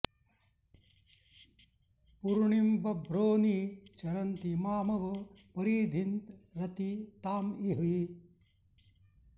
पु॒रूणि॑ बभ्रो॒ नि च॑रन्ति॒ मामव॑ परि॒धीँरति॒ ताँ इ॑हि